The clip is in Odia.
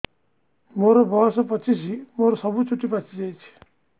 ମୋର ବୟସ ପଚିଶି ମୋର ସବୁ ଚୁଟି ପାଚି ଯାଇଛି